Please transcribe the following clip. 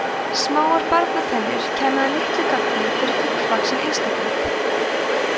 smáar barnatennur kæmu að litlu gagni fyrir fullvaxinn einstakling